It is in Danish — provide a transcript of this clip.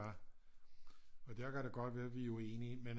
Og der kan det godt være at vi er uenige men